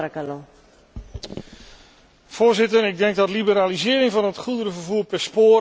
Voorzitter, ik denk dat liberalisering van het goederenvervoer per spoor echt toekomst biedt aan die sector.